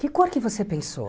Que cor que você pensou?